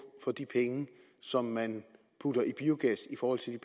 for de penge som man putter i biogas i forhold til